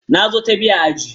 Na zo ta biyu a ajin.